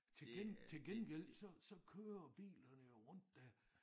Til til gengæld så så kører bilerne jo rundt der